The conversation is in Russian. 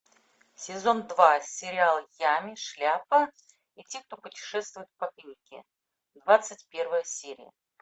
сезон два сериал ями шляпа и те кто путешествуют по книге двадцать первая серия